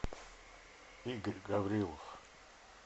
игорь гаврилов